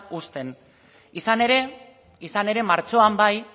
uzten izan ere izan ere martxoan bai